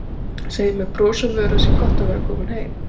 Segir með brosi á vör að það sé gott að vera komin heim.